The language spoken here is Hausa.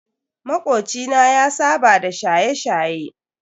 Makoci na ya saba da shaye-shaye.